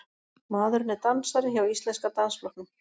Maðurinn er dansari hjá Íslenska dansflokknum